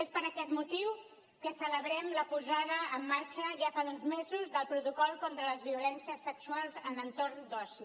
és per aquest motiu que celebrem la posada en marxa ja fa uns mesos del protocol contra les violències sexuals en entorns d’oci